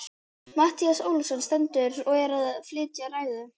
Matthías Ólafsson stendur og er að flytja ræðu.